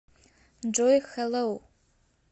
джой хэлоу